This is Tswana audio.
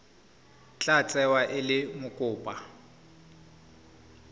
tla tsewa e le mokopa